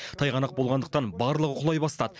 тайғанақ болғандықтан барлығы құлай бастады